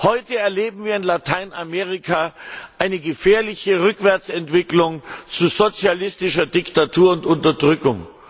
Heute erleben wir in Lateinamerika eine gefährliche Rückwärtsentwicklung zu sozialistischer Diktatur und Unterdrückung.